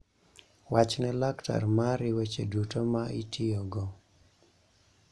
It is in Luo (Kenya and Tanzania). Wach ne laktar mari weche duto ma itiyogo.